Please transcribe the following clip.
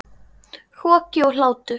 Hroki og hlátur.